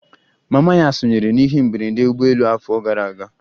Mama ya sonyere n'ihe mberede ụgbọelu afọ abụọ gara aga